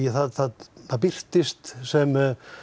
það það birtist sem